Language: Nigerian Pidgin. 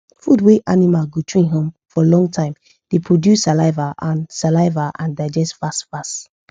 food wa animal go chew um for long time da produce saliva and saliva and digest fast fast